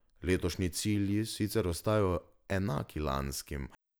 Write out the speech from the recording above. Letošnji cilji sicer ostajajo enaki lanskim.